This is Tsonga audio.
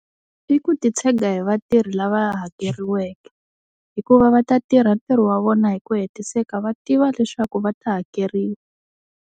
I ku titshega hi vatirhi lava hakeriweke hikuva va ta tirha ntirho wa vona hi ku hetiseka va tiva leswaku va ta hakeriwa.